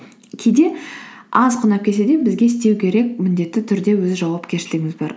кейде аз құн алып келсе де бізге істеу керек міндетті түрде өз жауапкершілігіміз бар